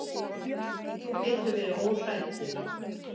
Þú getur verið óhræddur.